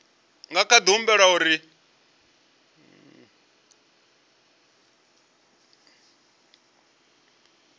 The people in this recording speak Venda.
nga kha di humbela uri